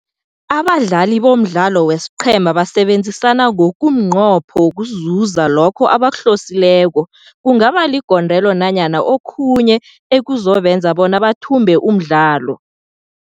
Abadlali bomdlalo wesiqheema basebenzisana ngokumnqopho wokuzuza lokho abakuhlosileko, kungaba ligondelo nanyana okhunye ekuzobenza bona bathumbe umdlalo.